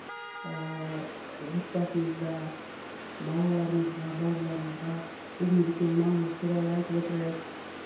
ыыы отбасымызда балалармызға бауырларымызға бұл мерекенің маңызы туралы айтып отырайық